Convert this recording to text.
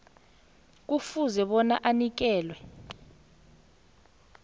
kufuze bona anikelwe